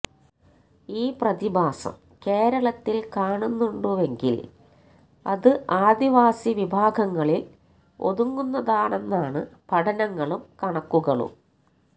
ഈ പ്രതിഭാസം കേരളത്തില് കാണുന്നുണ്ടുവെങ്കില് അത് ആദിവാസി വിഭാഗങ്ങളില് ഒതുങ്ങുന്നതാണെന്നാണ് പഠനങ്ങളും കണക്കുകളും